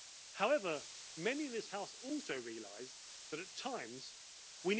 However, many in this House also realise that, at times, we need to work with Turkey.